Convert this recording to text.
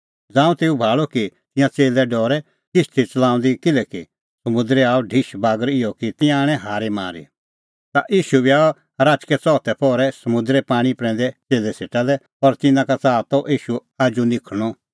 ज़ांऊं तेऊ भाल़अ कि तिंयां च़ेल्लै डरै किश्ती च़लाऊंदी किल्हैकि समुंदरै आअ ढिश बागर इहअ कि तिंयां आणै हारी मारी ता ईशू बी आअ राचकै च़ौथै पहरै समुंदरे पाणीं प्रैंदै च़ेल्लै सेटा लै और तिन्नां का च़ाहा ती ईशू आजू निखल़णअ